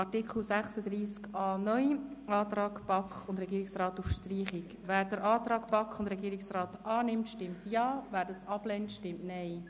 Wer den Antrag BaK und Regierungsrat auf Streichung von Artikel 36a (neu) annimmt, stimmt Ja, wer dies ablehnt, stimmt Nein.